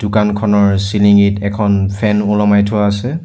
দোকানখনৰ চিলিং ত এখন ফেন ওলমাই থোৱা আছে।